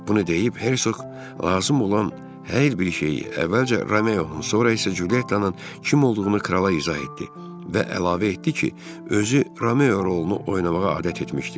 Bunu deyib Hersoq lazım olan hər bir şeyi əvvəlcə Romeovun, sonra isə Cülyettanın kim olduğunu krala izah etdi və əlavə etdi ki, özü Romeo rolunu oynamağa adət etmişdi.